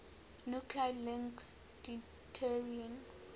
nuclide link deuterium